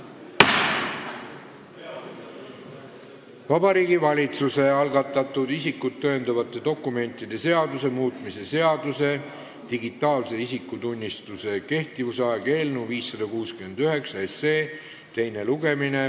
Vabariigi Valitsuse algatatud isikut tõendavate dokumentide seaduse muutmise seaduse eelnõu 569 teine lugemine.